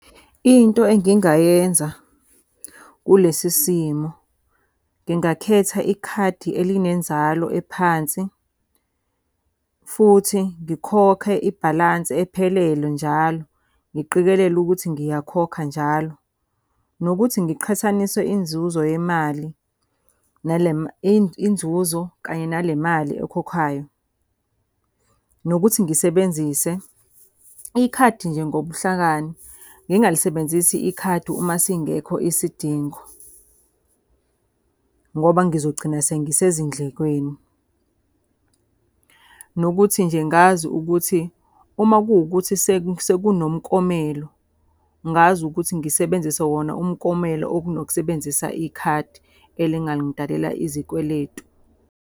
Into engingayenza kulesi simo, ngingakhetha ikhadi elinenzalo ephansi. Futhi ngikhokhe ibhalansi ephelele njalo, ngiqikelele ukuthi ngiyakhokha njalo. Nokuthi ngiqhathanise inzuzo yemali nale inzuzo kanye nale mali oyikhokhayo. Nokuthi ngisebenzise ikhadi nje ngobuhlakani. Ngingalisebenzisi ikhadi uma singekho isidingo, ngoba ngizogcina sengisezindlekweni. Nokuthi nje ngazi ukuthi uma kuwukuthi sekunomkomelo, ngazi ukuthi ngisebenzise wona umkomelo kunokusebenzisa ikhadi elingangidalela izikweletu.